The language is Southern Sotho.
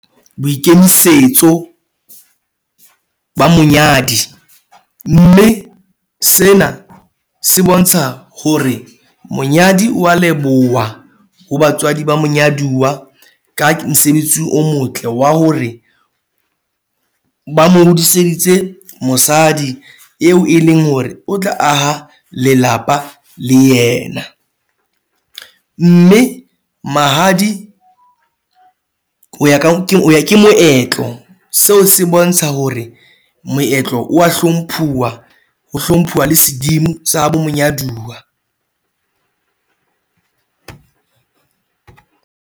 Boikemisetso ba monyadi mme sena se bontsha hore monyadi wa leboha ho batswadi ba monyaduwa ka mosebetsi o motle wa hore ba mo hodiseditse mosadi eo e leng hore o tla aha lelapa le yena. Mme mahadi ho ya ke moetlo seo se bontsha hore moetlo wa hlomphuwa ho hlomphuwa le sedimo sa habo monyaduwa.